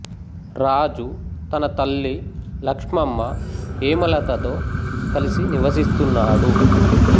రాజు తన తల్లి లక్ష్మమ్మ హేమలత తో కలిసి నివసిస్తున్నాడు